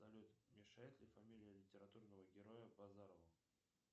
салют мешает ли фамилия литературного героя базарову